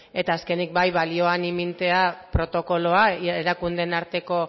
eta azkenik bai balioan ipintzea protokoloa erakundeen arteko